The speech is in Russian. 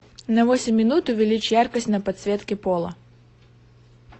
на восемь минут увеличь яркость на подсветке пола